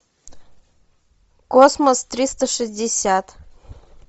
космос триста шестьдесят